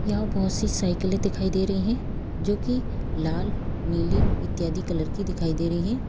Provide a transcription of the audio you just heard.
यहाँ बहुत-सी साइकिलें दिखाई दे रही हैं जो कि लाल नीली इत्यादि कलर की दिखाई दे रही हैं।